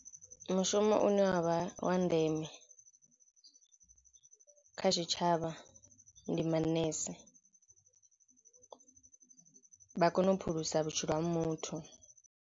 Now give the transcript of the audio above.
Mushumo une wa vha wa ndeme kha tshitshavha ndi manese vha kona u phulusa vhutshilo ha muthu.